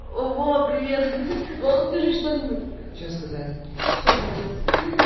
вова привет ха-ха вова скажи что-нибудь что сказать всё молодец ха-ха